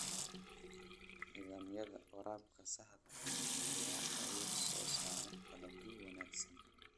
Nidaamyada waraabka saxda ah ayaa caawiya soo saarista dalagyo wanaagsan.